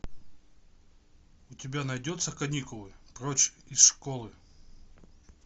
у тебя найдется каникулы прочь из школы